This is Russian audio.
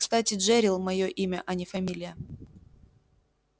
кстати джерилл моё имя а не фамилия